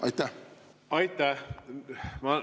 Aitäh!